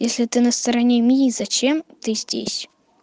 если ты на стороне мии зачем ты здесь